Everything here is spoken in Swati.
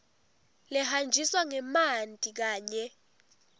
lehanjiswa ngemanti kanye